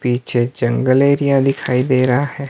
पीछे जंगल एरिया दिखाई दे रहा है।